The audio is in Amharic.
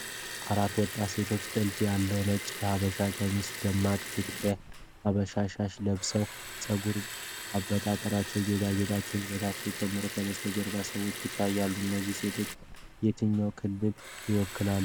አራት ወጣት ሴቶች ጥልፍ ያለው ነጭ የሐበሻ ቀሚስና ደማቅ የትግራይ ባህላዊ ሻሽ ለብሰዋል። የፀጉር አበጣጠራቸውና ጌጣጌጦቻቸው ውበታቸውን ጨምረዋል። ከበስተጀርባ ሰዎች ይታያሉ። እነዚህ ሴቶች የትኛውን ክልል ይወክላሉ?